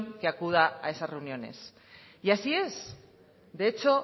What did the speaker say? que acuda a esas reuniones y así es de hecho